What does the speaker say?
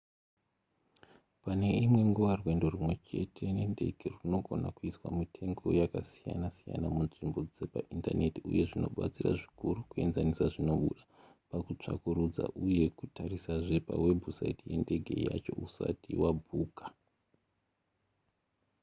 pane imwe nguva rwendo rwumwe chete nendege rwunogona kuiswa mitengo yakasiyana-siyana munzvimbo dzepaindaneti uye zvinobatsira zvikuru kuenzanisa zvinobuda pakutsvakurudza uye kutarisazve pawebhusaiti yendege yacho usati wabhuka